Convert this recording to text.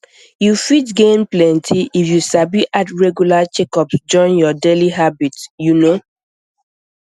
you fit gain plenty if you sabi add regular checkups join your daily habits you know